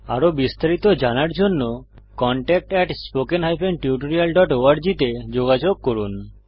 আরো বিস্তারিত জানার জন্য contactspoken tutorialorg তে যোগযোগ করুন